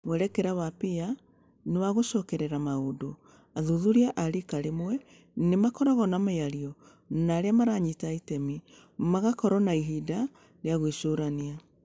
Mwerekera wa PEER nĩ wa gũcokerera maũndũ. Athuthuria a riika rĩmwe nĩ makoragwo na mĩario na arĩa maranyita itemi, magakorũo na ihinda rĩa gwĩcũrania.